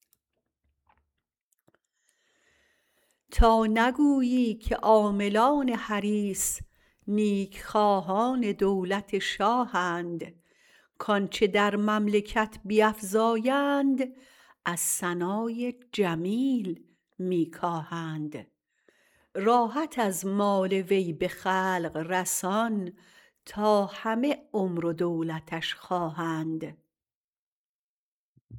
تا نگویی که عاملان حریص نیک خواهان دولت شاهند کانچه در مملکت بیفزایند از ثنای جمیل می کاهند راحت از مال وی به خلق رسان تا همه عمر و دولتش خواهند